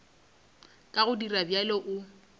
ka go dira bjalo o